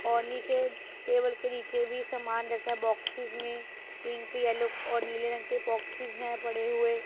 और निचे टेबल के नीचे भी सामान रखा बॉक्सेस में पिंक येलो और नीले रंग के बॉक्सेस है पड़े हुए--